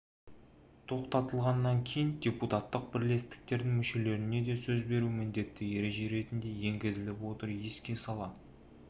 тоқтатылғаннан кейін депутаттық бірлестіктердің мүшелеріне де сөз беру міндетті ереже ретінде енгізіліп отыр еске сала